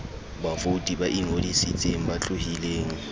bavouti ba ingodisitseng ba tlohileng